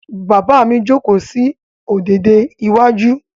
Bàbá mi jókòó sí ọ̀dẹ̀dẹ̀ iwájú.